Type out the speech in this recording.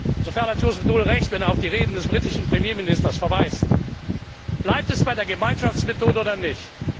Insofern hat Joseph Daul Recht, wenn er auf die Reden des britischen Premierministers verweist. Bleibt es bei der Gemeinschaftsmethode oder nicht?